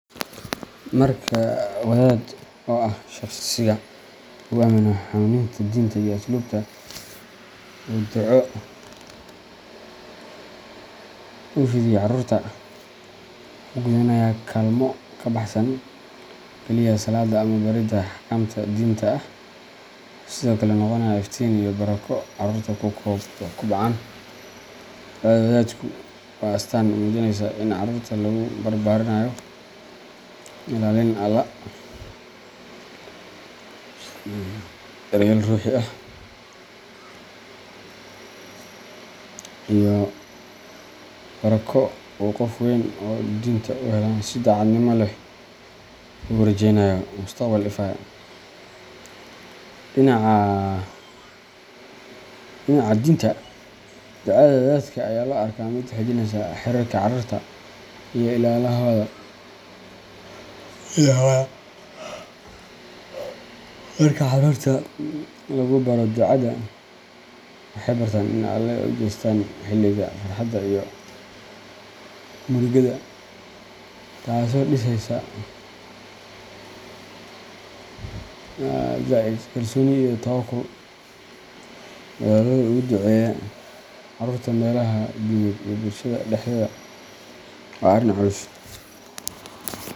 Marka wadaad oo ah shakhsiga lagu aamino hanuuninta diinta iyo asluubta uu duco u fidiyo carruurta, wuxuu gudanayaa kaalmo ka baxsan keliya salaadda ama baridda axkaamta diiniga ah; wuxuu sidoo kale noqonayaa iftiin iyo barako carruurtu ku kobcaan. Ducada wadaadku waa astaan muujinaysa in carruurta lagu barbaarinayo ilaalin Allah, daryeel ruuxi ah, iyo barako uu qof weyn oo diinta u heellan si daacadnimo leh ugu rajeynayo mustaqbal ifaya. Dhinaca diinta, ducada wadaadka ayaa loo arkaa mid xoojinaysa xiriirka carruurta iyo Ilaahooda. Marka carruurta lagu baro ducada, waxay bartaan in ay Alle u jeestaan xilliga farxadda iyo murugada, taasoo dhisaysa zaid. kalsooni iyo tawakkul. Wadaaddu uga duceeyo carruurta meelaha diimeed iyo bulshada dhexdeeda waa arrin culus .